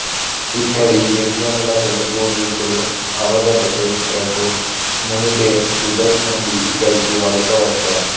ఇక్కడి గిరిజనుల తొలి పూర్వీకులు అవగత చరిత్రకు మునుపే టిబెట్ నుండి ఇక్కడికి వలస వచ్చారు